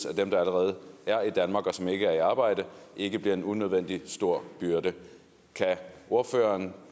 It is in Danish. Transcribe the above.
at dem der allerede er i danmark og som ikke er i arbejde ikke bliver en unødvendig stor byrde kan ordføreren